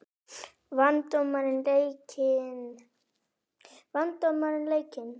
Vann dómarinn leikinn?